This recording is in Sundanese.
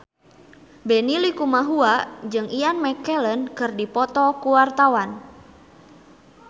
Benny Likumahua jeung Ian McKellen keur dipoto ku wartawan